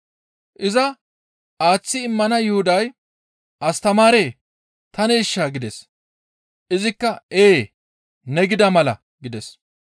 Iza aaththi immana Yuhuday, «Astamaaree! Taneeshaa?» gides. Izikka, «Ee, ne gida mala» gides.